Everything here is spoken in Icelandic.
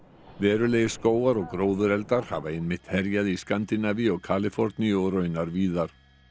verulegir skógar og hafa einmitt herjað í Skandínavíu og Kaliforníu og raunar víðar